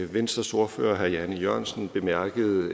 venstres ordfører herre jan e jørgensen bemærkede